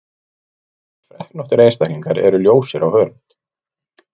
Flestir freknóttir einstaklingar eru ljósir á hörund.